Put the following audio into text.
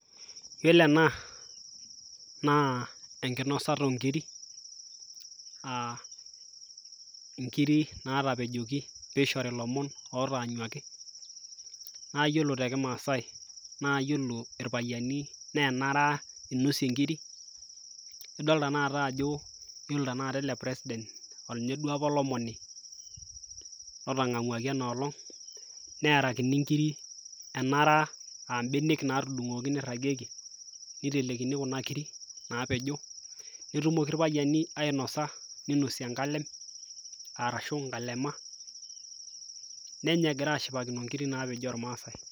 iyiolo ena naa enkinosata oonkiri, inkiri naatapejoki pee eishori ilomon ootaanyuaki. naa iyiolo te kimaasae, naa iyiolo irpayiani naa enara inosie inkiri. idol tenakata ajo ore tene wueji naa ore or president naa ninye apa olomoni otang'amuaki eno olong'.neerakini nkiri, enara, naa mbenek naatudung'uoki, nirang'ieki, nitelekini kuna kiri, naapejo, netumoki irpayiani ainosa, ninosie enkalem, arashuu inkalema, nenya egira ashipakino nkiri naapejo oolmaasae.